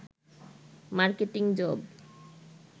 marketing job